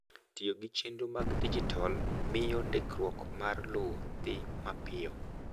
Tiyo gi chenro mag dijital miyo ndikruok mar lowo dhi mapiyo.